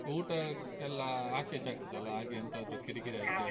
ಊಟ ಎಲ್ಲ ಆಚೆ ಈಚೆ ಆಗ್ತದಲ್ಲ ಹಾಗೆ ಎಂತಾದ್ರೂ ಕಿರಿಕಿರಿ ಆಯ್ತಾ?